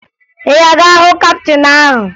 Ị ga-aga hụ kaptịn ahụ?